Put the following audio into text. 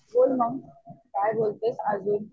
बोल मग काय बोलतेस अजून?